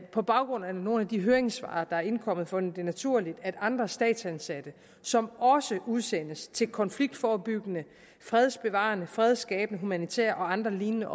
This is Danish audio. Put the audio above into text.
på baggrund af nogle af de høringssvar der er indkommet fundet det naturligt at andre statsansatte som også udsendes til konfliktforebyggende fredsbevarende fredsskabende humanitære og andre lignende